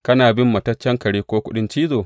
Kana bin mataccen kare ko kuɗin cizo?